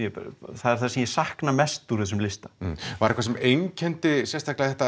það er það sem ég sakna mest af þessum lista var eitthvað sem einkenndi þetta